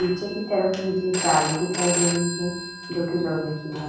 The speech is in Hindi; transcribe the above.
नीचे की तरफ मुझे जाली दिखाई दे रही है जोकि लोहे की है।